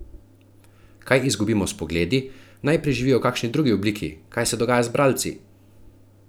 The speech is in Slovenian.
Kaj izgubimo s Pogledi, naj preživijo v kakšni drugi obliki, kaj se dogaja z bralci?